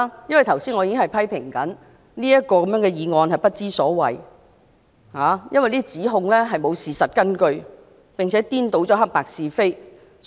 我剛才已經批評何君堯議員的指控沒有事實根據，並且顛倒黑白是非，不知所謂。